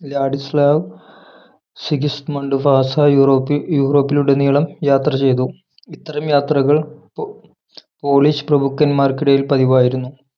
Ladislav Sigismund Vasa യൂറോപി യൂറോപിലുടനീളം യാത്ര ചെയ്തു ഇത്തരം യാത്രകൾ പോ പോളിഷ് പ്രഭുക്കന്മാർക്കിടയിൽ പതിവായിരുന്നു